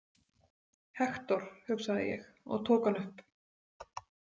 Hektor, hugsaði ég og tók hann upp.